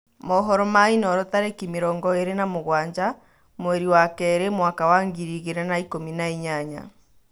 Mohoro ma inooro tarĩkĩ mĩrongo ĩrĩ na mũgwanja mweri wa kerĩ mwaka wa ngiri igĩrĩ na ikũmi na inyanya.